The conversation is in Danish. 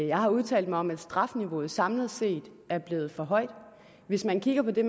jeg har udtalt mig om at strafniveauet samlet set er blevet for højt hvis man kigger på det